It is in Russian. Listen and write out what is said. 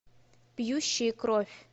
пьющие кровь